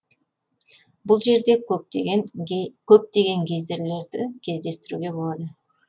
бұл жерде көптеген гейзерлерді кездестіруге болады